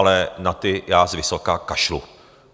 Ale na ty já zvysoka kašlu.